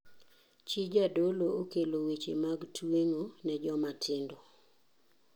Chi jadolo okelo weche mag tuengo ne joma tindo.